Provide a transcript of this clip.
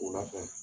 O la fɛn